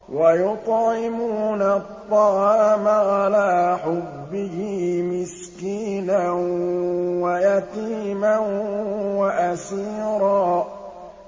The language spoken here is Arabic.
وَيُطْعِمُونَ الطَّعَامَ عَلَىٰ حُبِّهِ مِسْكِينًا وَيَتِيمًا وَأَسِيرًا